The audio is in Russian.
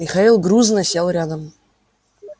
михаил грузно сел рядом